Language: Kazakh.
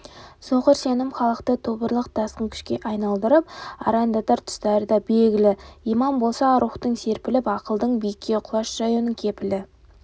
соқыр сенім халықты тобырлық тасқын күшке айналдырып арандатар тұстары да белгілі иман болса рухтың серпіліп ақылдың биікке құлаш жаюының кепілі